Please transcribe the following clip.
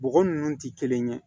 Bɔgɔ ninnu tɛ kelen ye